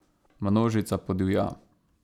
Množica podivja.